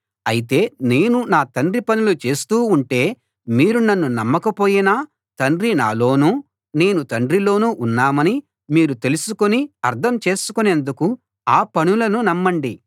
అయితే నేను నా తండ్రి పనులు చేస్తూ ఉంటే మీరు నన్ను నమ్మకపోయినా తండ్రి నాలోను నేను తండ్రిలోను ఉన్నామని మీరు తెలుసుకుని అర్థం చేసుకునేందుకు ఆ పనులను నమ్మండి